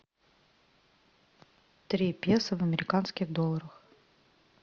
три песо в американских долларах